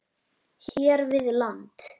hér við land.